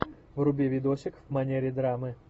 вруби видосик в манере драмы